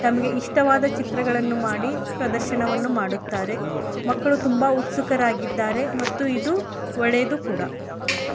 ಇಷ್ಟವಾದ ಚಿತ್ರ ಗಳನ್ನೂ ಮಾಡಿ ಪ್ರದರ್ಶನವನ್ನು ಮಾಡುತ್ತಾರೆ ಮಕ್ಕಳು ತುಂಬ ಉತ್ಸುಕರಾಗಿದ್ದಾರೆ ಮತ್ತೆ ಇದು ಒಳ್ಳೇದು ಕೂಡ.